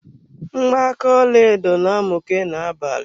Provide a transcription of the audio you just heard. Mgbaka ọlaedo na-amuke na-abalị.